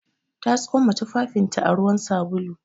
Ta tsoma tufafinta a ruwan sabulu.